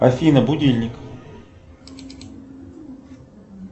афина будильник